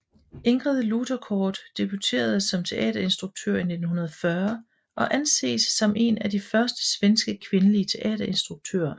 Ingrid Luterkort debuterede som teaterinstruktør i 1940 og anses som en af de første svenske kvindelige teaterinstruktører